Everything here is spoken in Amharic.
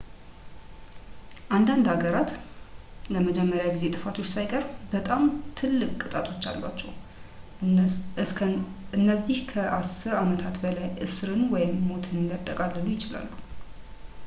አንዳንድ ሃገራት ለመጀመሪያ ጊዜ ጥፋቶች ሳይቀር በጣም ትልቅ ቅጣቶች አሏቸው እነዚህ ከ10 ዓመታት በላይ እስርን ወይም ሞትን ሊያጠቃልሉ ይችላሉ